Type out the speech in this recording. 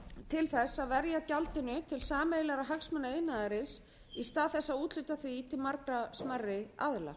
til þess að verja gjaldinu til sameiginlegra hagsmuna iðnaðarins í stað þess að úthluta því til margra smærri aðila